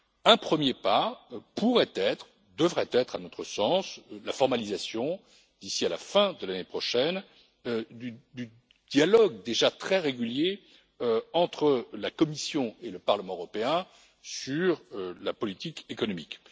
Un premier pas pourrait être devrait être, à notre sens la formalisation, d'ici à la fin de l'année prochaine, du dialogue, déjà très régulier, entre la Commission et le Parlement européen sur la politique économique.